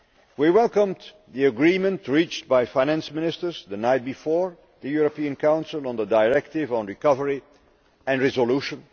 We welcomed the agreement reached by Finance Ministers the night before the European Council on the directive on recovery and resolution.